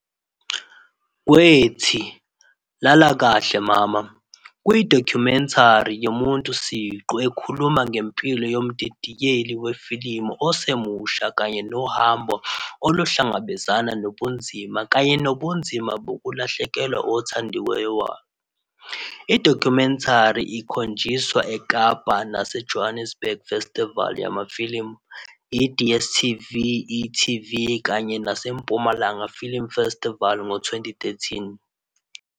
Kwethi 'Lala kahle Mama' kuyidokhumentari yomuntu siqu ekhuluma ngempilo yomdidiyeli wefilimu osemusha kanye nohambo oluhlangabezana nobunzima kanye nobunzima bokulahlekelwa othandekayo. I-documentary ikhonjiswe eKapa nase-Johannesburg festival yamafilimu, i-DSTV, i-eTV kanye naseMpumalanga Film Festival ngo-2013.